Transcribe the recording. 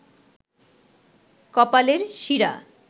কপালের শিরা